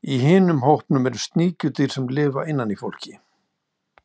Í hinum hópnum eru sníkjudýr sem lifa innan í fólki.